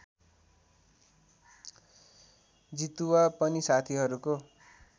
जितुवा पनि साथीहरूको